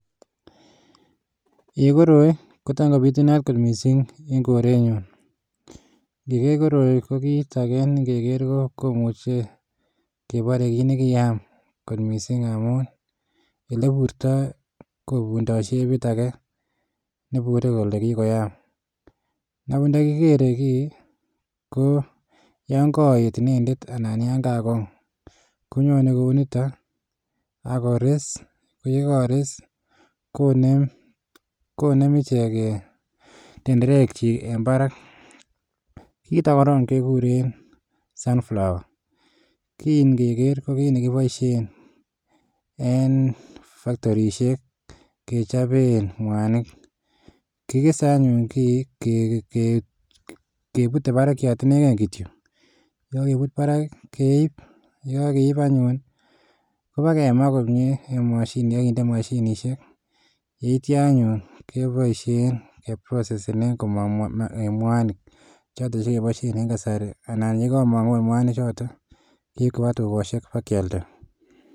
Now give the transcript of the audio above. En koroi kotamkobitunat kotbmisin en korengung Niger koroi ko kit age nengeger ko komuche ko kebare kit nekikoyam kot mising amun eleburto ko kotindo shebit age nebure Kole kikoyam nebuch ntakikere gi ko yangaet inendet anan kagong konyonen Kou niton akores AK yekakores konem ichek en tenderek chik en Barak kiiton korong kekuren Cs sunflower cs ki ngeger kebare kebaishen en factorishek kechoben mwanik kikesw anyun ki kebute barakiat inegen kityo AK yekakebut Barak keib AK yikakeib anyun kobakemaa komie en mashinishek yita anyun kebaishen keprosesenen Komang mwanik choton chekibaishen en kasari anan yekakomang mwanik choton keib kobwa tugoshek akialda